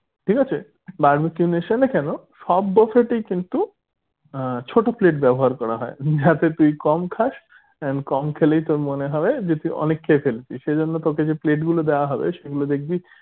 ঠিক আছে barbeque nation এ কেন সব buffet এ কিন্তু আহ ছোট plate ব্যবহার করা হয় যাতে তুই কম খাস and কম খেলেই তোর মনে যে তুই অনেক খেয়ে ফেলেছিস এজন্য তোকে যে plate গুলো দেয়া হবে যেগুলো দেখবি